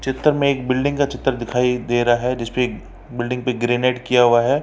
चित्र में एक बिल्डिंग का चित्र दिखाई दे रहा है जिसपे एक बिल्डिंग पे ग्रेनाइट किया हुआ है।